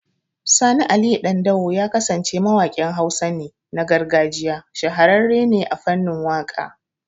Sani Aliyu Dandawo Ya kasance mawakin Hausa ne, na gargajiya. Shahararre ne a fanin waka